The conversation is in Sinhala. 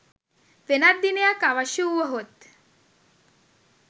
වෙනත් දිනයක් අවශ්‍ය වුවහොත්